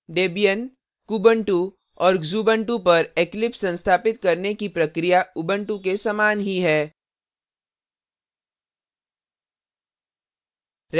debian kubuntu और xubuntu पर eclipse संस्थापित करने की प्रक्रिया उबंटु के समान ही है